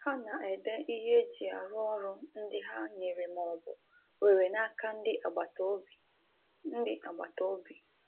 Ha na-ede ihe eji arụ ọrụ ndị ha nyere ma ọ bụ were n'aka ndị agbataobi. ndị agbataobi.